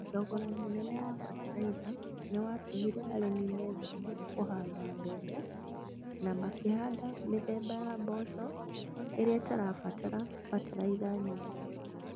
Thogora mũnene wa bataraitha nĩ watũmire arĩmi metheme kũhanda mbembe na makihanda mitheba ya mboco ĩrĩa ĩtarabatĩra bataraitha nyingĩ